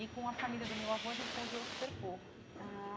E com a família do meu avô a gente conviveu super pouco. Ah